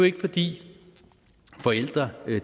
ikke fordi forældre